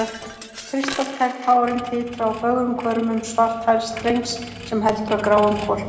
Kristaltær tárin titra á fögrum hvörmum svarthærðs drengs sem heldur á gráum hvolpi.